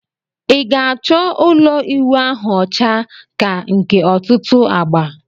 I ga acho ulo iwu ahu ocha ka nke otutu agba?